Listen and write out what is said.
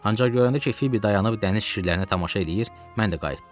Ancaq görəndə ki, Fibi dayanıb dəniz şirlərinə tamaşa eləyir, mən də qayıtdım.